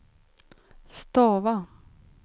stava